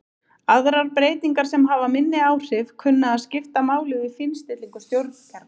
Aðrar breytingar sem hafa minni áhrif kunna að skipta máli við fínstillingu stjórnkerfa.